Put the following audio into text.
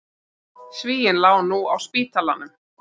Svíinn lá nú á spítalanum.